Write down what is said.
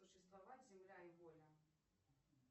существовать земля и воля